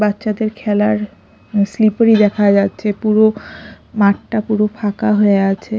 বাচ্চাদের খেলার স্লিপারি দেখা যাচ্ছে পুরো মাঠটা পুরো ফাঁকা হয়ে আছে।